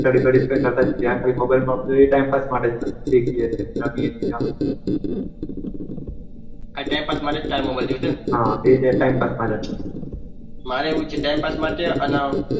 study કરતા mobile એ time pass માટે જતા આ ટાઈમ પાસ માટે જ ટાઈમ હોય દેખીયો હમ એ ટાઈમ પાસ માટે જ મારે એવુજ છે ટાઈમ પાસ માટે અને